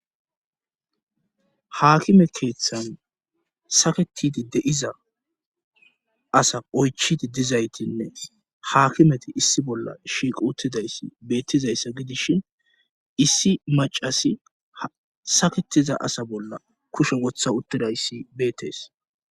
Haakime keeththan saketidi deiza asa oychidi dizaytinne haakimeti issi bolla shiiq uttidayssi beettizayssa gidishin issi macasi saketiza asa bolla kusho wotha uttidayssi beettees